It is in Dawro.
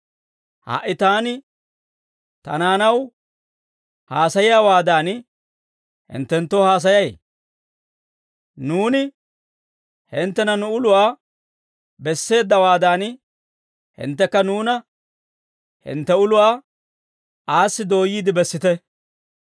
Ha"i taani ta naanaw haasayiyaawaadan, hinttenttoo haasayay; nuuni hinttena nu uluwaa besseeddawaadan, hinttekka nuuna hintte uluwaa aassi dooyyiide bessite.